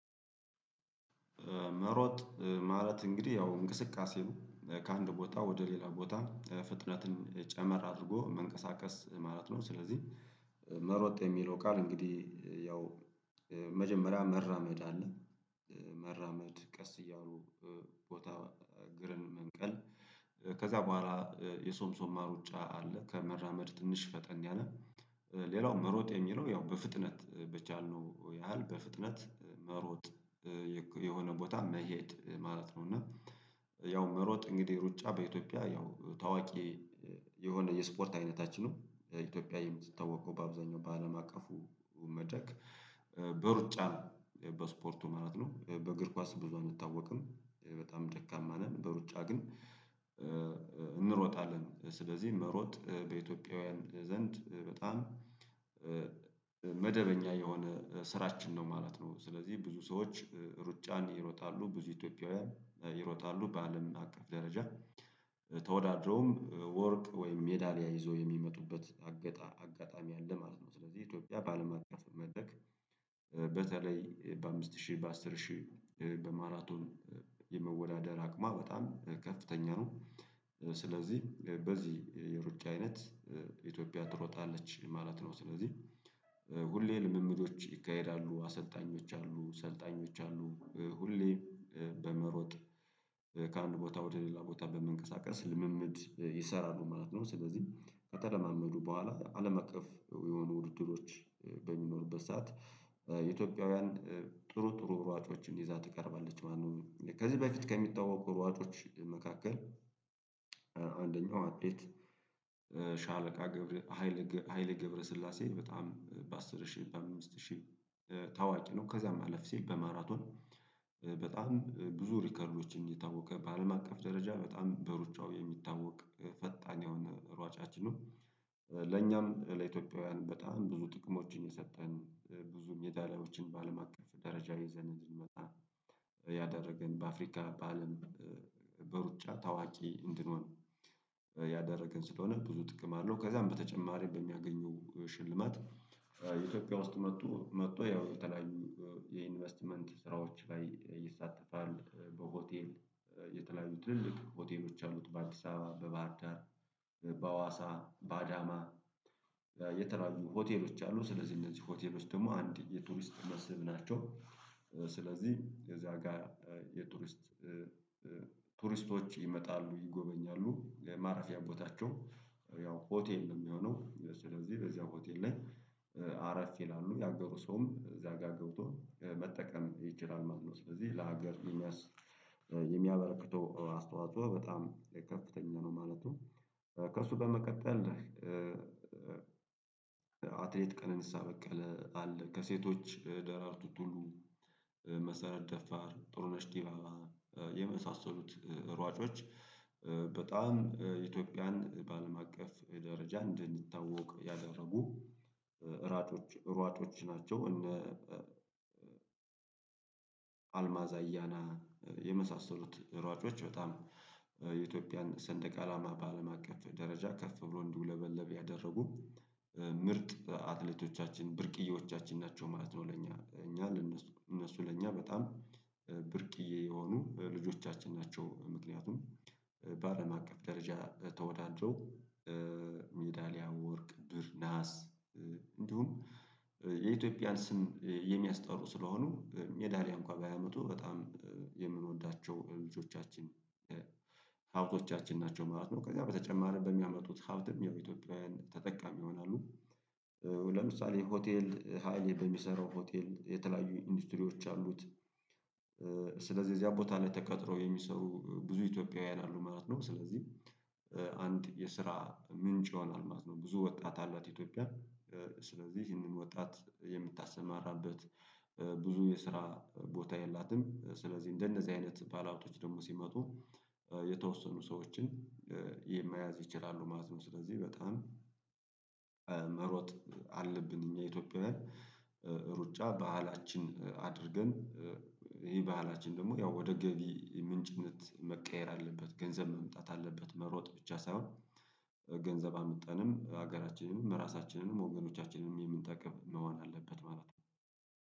መሮጥ ማለት እንግዲህ ያው እንቅስቃሴው ከአንድ ቦታ ወደ ሌላ ቦታ ፍጥነትን ጨመር አድርጎ መንቀሳቀስ ማለት ነው። ስለዚህ መሮጥ የሚለው ቃል እንግዲህ። መጀመርያ መራመድ አለ። መራመድ ቀስ እያሉ ቦታ እግርም መንቀል። ከዛ በኋላ የሶምሶማ ሩጫ አለ ከመራመድ ትንሽ ፈጠን ያለ። ሌላው መሮጥ የሚለው ያው በፍጥነት በቻልነው ያህል በፍጥነት መሮጥ። ቦታ መሄድ ማለት ነው። እና ያው መሮጥ እንግዲህ ሩጫ በኢትዮጵያ ያው ታዋቂ። የሆነ የስፖርት አይነታችንን ኢትዮጵያ የምትታወቀው በአብዛኛው በአለም አቀፉ መደግ በሩጫ በስፖርቱ ማለት ነው። በእግር ኳስ ብዙ አንታወቅም በጣም ደካማ ነን በሩጫ ግን። እንሮጣለን ስለዚህ መሮጥ በኢትዮጵያውያን ዘንድ በጣም መደበኛ የሆነ ስራችን ነው ማለት ነው። ስለዚህ ብዙ ሰዎች ሩጫን ይሮጣሉ ብዙ ኢትዮጵያውያን ይሮጣሉ በአለምን አቀፍ ደረጃ። ተወዳድረውም ወርቅ ወይም ሜዳሊያ ይዞ የሚመጡበት አጋጣሚ አለ ማለት ነው። ስለዚህ ኢትዮጵያ ባለማቀፍ መደረክ በተለይ በአምስት ሺህ በአስር ሺህ በማራቶን። የመወዳደር አቅሟ በጣም ከፍተኛ ነው። ስለዚህ በዚህ የሩጫ አይነት ኢትዮጵያ ትሮጣለች ማለት ነው። ስለዚህ ሁሌ ልምምዶች ይካሄዳሉ አሰልጣኞች አሉ ሰልጣኞች አሉ። ሁሌ በመሮጥ ከአንድ ቦታ ወደ ሌላ ቦታ በመንቀሳቀስ ልምምድ ይሰራሉ ማለት ነው። ስለዚህ ከተለማመዱ በኋላ አለም አቀፍ የሆኑ ውድድሮች በሚኖሩበት ሰዓት ኢትዮጵያውያን ጥሩ ጥሩ ሯጮችን ይዛ ትቀርባለች ማለት ነው። ከዚህ በፊት ከሚታወቁ ሯጮች መካከል አንደኛው አትሌት። ሺአለቃ ገብረ ሀይለ ገብረ ገብረስላሴ በጣም በአሥር ሺህ በአምስት ሺህ ታዋቂ ነው። ከዛ አለፍ ሲል በማራቶን በጣም ብዙ ሪከርዶችን የታወቀ በአለም አቀፍ ደረጃ በጣም በሩጫው የሚታወቅ ፈጣን የሆነ ሯጫችንነው። ለኛም ለኢትዮጵያውያን በጣም ብዙ ጥቅሞችን የሰጠን ብዙም የሚዳሊያዎችን በአለም አቀፍ ደረጃ ይዘን እንድንመጣ ያደረገን በአፍሪካ በአለም በሩጫ ታዋቂ እንድንሆን ያደረገን ስለሆነ ብዙ ጥቅም አለው። ከዛም በተጨማሪ በሚያገኘው ሽልማት ኢትዮጵያ ውስጥ መጥቶ መጥቶ ያው የተለያዩ የኢንቨስትመንት ስራዎች ላይ ይሳተፋል። በሆቴል የተለያዩ ትልልቅ ሆቴሎች አሉት። በአዲስ አበባ በባህር ዳር በሃዋሳ በአዳማ የተለያዩ ሆቴሎች አሉ። ስለዚህ እነዚህ ሆቴሎች ደግሞ አንድ የቱሪስት መስህብ ናቸው። ስለዚህ የዚያ ጋር የቱሪስት ቱሪስቶች ይመጣሉ ይጎበኛሉ የማረፊያ ቦታቸው ያው ሆቴል የሚሆነው ስለዚህ በዚያ ሆቴል ላይ አረፍ ይላሉ ያገቡ ሰውም እዚያ ጋር ገብቶ መጠቀም ይችላል ማለት ነው። ስለዚህ ለሀገር የሚያበረክተው አስተዋጽኦ በጣም ከፍተኛ ነው። ማለቱ ከሱ በመቀጠል። አትሌት ቀነንስ አበቀለ አለ ከሴቶች ደራርቱ ቱሉ መሰረት ደፋር ጥሩ ነሽ ዲባባ የመሳሰሉት ሯጮች። በጣም ኢትዮጵያን በአለም አቀፍ ደረጃ እንድንታወቅ ያደረጉ ሯጮች ሯጮች ናቸው። እነ አልማዛ እያና የመሳሰሉት ሯጮች በጣም የኢትዮጵያን ሰንደቅ አላማ በአለም አቀፍ ደረጃ ከፍ ብሎ እንዲውለበለብ ያደረጉ ምርጥ አትሌቶቻችን ብርቅዬዎቻችን ናቸው። ማለት ነው ለኛ ለእነሱ ለእኛ በጣም ብርቅዬ የሆኑ ልጆቻችን ናቸው። ምክንያቱም በአለም አቀፍ ደረጃ ተወዳድረው ሜዳሊያ ወርቅ ብር ነሃስ እንዲሁም የኢትዮጵያን ስም የሚያስጠሩ ስለሆኑ ሜዳልያ እንኳን ባያመጡ በጣም የምንወዳቸው ልጆቻችን ሃብቶቻችን ናቸው ማለት ነው። ከዛ በተጨማሪም በሚያመጡት ሀብትም ያው ኢትዮጵያውያን ተጠቃሚ ይሆናሉ። ለምሳሌ ሆቴል ሃይሌ በሚሰራው ሆቴል የተለያዩ ኢንዱስትሪዎች አሉት። ስለዚህ እዚያ ቦታ ላይ ተቀጥረው የሚሰሩ ብዙ ኢትዮጵያውያን አሉ ማለት ነው። ስለዚህ አንድ የስራ ምንጭ ይሆናል ማለት ነው። ብዙ ወጣት አላት ኢትዮጵያ። ስለዚህ ይህንን ወጣት የምታሰማራበት ብዙ የስራ ቦታ የላትም። ስለዚህ እንደነዚህ አይነት ባለ ሃብቶች ደግሞ ሲመጡ የተወሰኑ ሰዎችን የመያዝ ይችላሉ ማለት ነው። ስለዚህ በጣም መሮጥ አለብን እኛ ኢትዮጵያውያን። ሩጫ ባህላችን አድርገን ይሄ ባህላችን ደግሞ ያው ወደ ገቢ ምንጭነት መቀየር አለበት። ገንዘብ መምጣት አለበት። መሮጥ ብቻ ሳይሆን ገንዘብ አምጥተን ሀገራችንም ራሳችንንም ወገናቻችንን የምንጠቅም መሆን አለበት ማለት ነው።